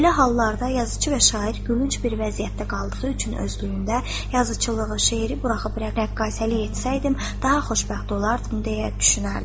Belə hallarda yazıçı və şair gülünc bir vəziyyətdə qaldığı üçün özlüyündə yazıçılığı, şeiri buraxıb rəqqasəlik etsəydim daha xoşbəxt olardım deyə düşünərdim.